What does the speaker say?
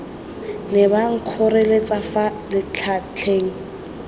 ne ba nkgoreletsa fa letlatlana